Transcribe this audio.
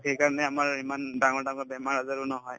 to সেইকাৰণে আমাৰ ইমান ডাঙৰ ডাঙৰ বেমাৰ-আজাৰো নহয়